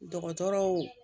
Dɔgɔtɔrɔw